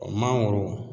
Mangoro